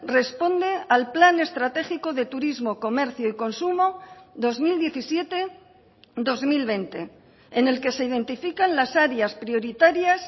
responde al plan estratégico de turismo comercio y consumo dos mil diecisiete dos mil veinte en el que se identifican las áreas prioritarias